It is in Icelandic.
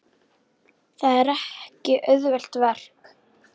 Það er ekki auðvelt verk.